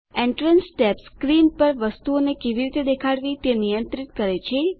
entrance tab screen પર વસ્તુઓને કેવી રીતે દેખાડવી તે નિયંત્રિત કરે છે